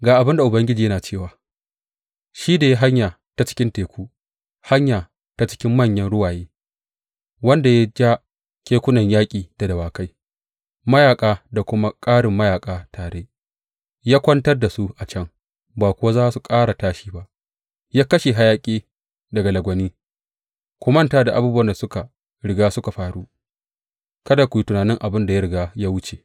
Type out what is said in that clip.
Ga abin da Ubangiji yana cewa, shi da ya yi hanya ta cikin teku, hanya ta cikin manyan ruwaye, wanda ya ja kekunan yaƙi da dawakai, mayaƙa da kuma ƙarin mayaƙa tare ya kwantar da su a can, ba kuwa za su ƙara tashi ba, ya kashe hayaƙi daga lagwani, Ku manta da abubuwan da suka riga suka faru; kada ku yi tunanin abin da ya riga ya wuce.